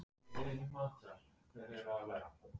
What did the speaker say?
Myndin hér fyrir ofan sýnir fjögur helstu smáatriði fingrafara.